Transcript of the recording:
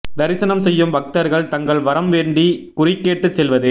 தரிசனம் செய்யும் பக்தர்கள் தங்கள் வரம் வேண்டி குறி கேட்டு செல்வது